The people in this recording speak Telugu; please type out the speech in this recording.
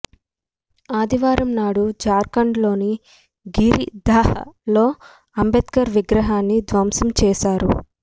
ఆదివారంనాడు జార్ఖండ్ లోని గిరిధిహ్ లో అంబేడ్కర్ విగ్రహాన్ని ధ్వంసం చేశారు